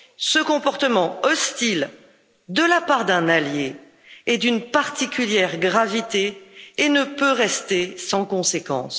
Ce comportement hostile de la part d'un allié est d'une particulière gravité et ne peut rester sans conséquence.